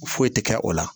Foyi tɛ kɛ o la